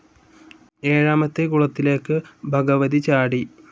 ഏഴാമത്തെ കുളത്തിലേക്ക് ഭഗവതി ചാടി